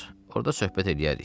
Orda söhbət eləyərik.